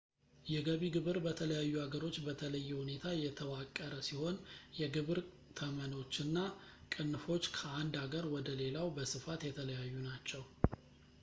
የገቢ ግብር በተለያዩ ሀገሮች በተለየ ሁኔታ የተዋቀረ ሲሆን የግብር ተመኖች እና ቅንፎች ከአንድ አገር ወደ ሌላው በስፋት የተለያዩ ናቸው